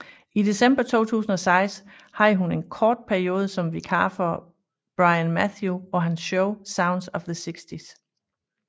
I december 2006 havde hun en kort periode som vikar for Brian Matthew på hans show Sounds of the 60s